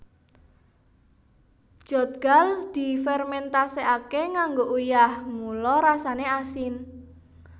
Jeotgal difermentasekake nganggo uyah mula rasane asin